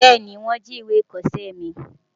Bẹ́ẹ̀ni wọ́n jí ìwé ìkọṣẹ́ mi.